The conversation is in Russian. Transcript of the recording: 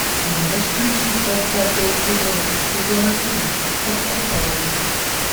можешь включить двадцатый эпизод сезона три под куполом